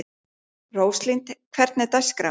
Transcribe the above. Róslind, hvernig er dagskráin?